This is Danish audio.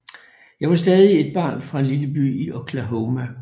Jeg var stadig et barn fra en lille by i Oklahoma